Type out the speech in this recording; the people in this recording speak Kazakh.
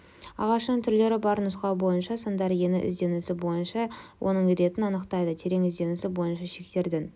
ағашының түрлері бар нұсқау бойынша сандар ені ізденісі бойынша оның ретін анықтайды терең ізденісі бойынша шектердің